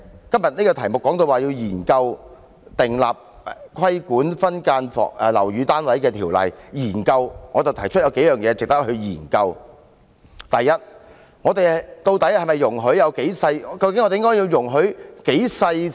今天這項議案提出要研究訂立規管分間樓宇單位的條例，我提出有數點值得研究：首先，究竟我們應該容許"劏房"可以多細小呢？